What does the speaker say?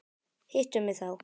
Hittu mig þá.